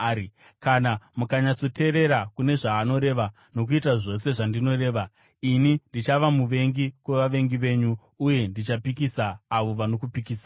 Kana mukanyatsoteerera kune zvaanoreva nokuita zvose zvandinoreva, ini ndichava muvengi kuvavengi venyu uye ndichapikisa avo vanokupikisai.